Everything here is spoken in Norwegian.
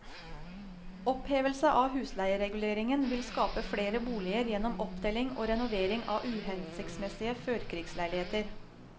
Opphevelse av husleiereguleringen vil skape flere boliger gjennom oppdeling og renovering av uhensiktsmessige førkrigsleiligheter.